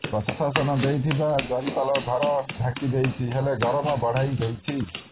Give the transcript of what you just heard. ପ୍ରଶାସନ ଦେଇଥିବା ଜରିପାଲ ଘର ଢାଂକି ଦେଇଛି ହେଲେ ଗରମ ବଢାଇଦେଇଛି